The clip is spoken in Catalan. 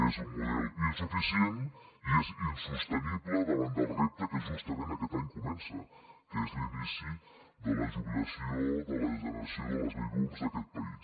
és un model insuficient i és insostenible davant del repte que justament aquest any comença que és l’inici de la jubilació de la generació de les baby booms d’aquest país